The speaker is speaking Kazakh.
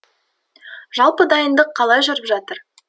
жалпы дайындық қалай жүріп жатыр